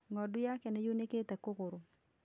Ng'ondu yaake nĩyunĩkire kũgũrũ